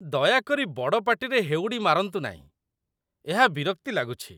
ଦୟାକରି ବଡ଼ ପାଟିରେ ହେଉଡ଼ି ମାରନ୍ତୁ ନାହିଁ, ଏହା ବିରକ୍ତି ଲାଗୁଛି।